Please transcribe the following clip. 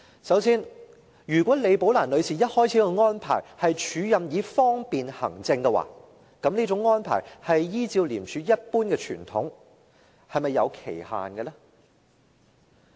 首先，如果李寶蘭女士一開始的安排是署任以方便行政的話，依照廉署一貫的傳統，這種安排是否有期限呢？